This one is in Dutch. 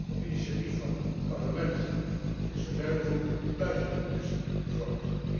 Op initiatief van het Parlement is een werkgroep buiten de Commissie gevormd